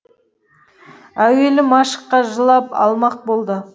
әуелі машқа жылап алмақ болды